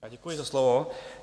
Děkuji za slovo.